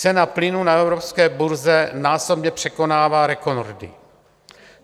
Cena plynu na evropské burze násobně překonává rekordy.